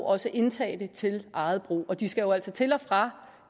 også indtage det til eget brug og de skal jo altså til og fra